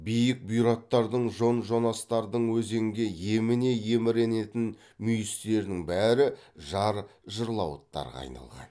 биік бұйраттардың жон жонастардың өзенге еміне еміренетін мүйістерінің бәрі жар жырлауыттарға айналған